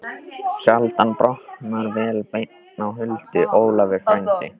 Sjaldan brotnar vel bein á huldu, Ólafur frændi.